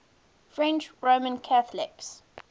french roman catholics